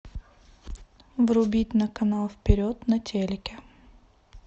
врубить на канал вперед на телике